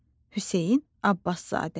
Hüseyn Abbaszadə.